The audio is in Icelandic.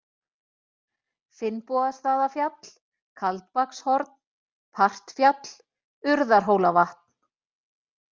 Finnbogastaðafjall, Kaldbakshorn, Partfjall, Urðarhólavatn